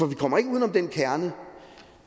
vi kommer ikke uden om den kerne